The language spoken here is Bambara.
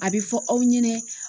A bɛ fɔ aw ɲɛna